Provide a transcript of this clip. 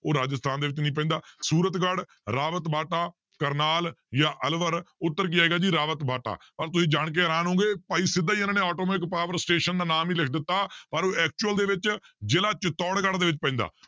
ਉਹ ਰਾਜਸਥਾਨ ਦੇ ਵਿੱਚ ਨੀ ਪੈਂਦਾ ਸੂਰਤ ਗੜ, ਰਾਵਤ ਬਾਟਾ, ਕਰਨਾਲ ਜਾਂ ਅਲਵਰ ਉੱਤਰ ਕੀ ਆਏਗਾ ਜੀ ਰਾਵਤ ਬਾਟਾ ਪਰ ਤੁਸੀਂ ਜਾਣਕੇ ਹੈਰਾਨ ਹੋਵੋਗੇ ਭਾਈ ਸਿੱਧਾ ਹੀ ਇਹਨਾਂ ਨੇ atomic power station ਦਾ ਨਾਮ ਹੀ ਲਿਖ ਦਿੱਤਾ ਪਰ ਉਹ actual ਦੇ ਵਿੱਚ ਜ਼ਿਲ੍ਹਾ ਚਿਤੋੜਗੜ੍ਹ ਦੇ ਵਿੱਚ ਪੈਂਦਾ